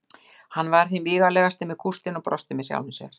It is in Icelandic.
Hann var hinn vígalegasti með kústinn og brosti með sjálfum sér.